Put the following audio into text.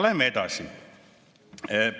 Läheme edasi.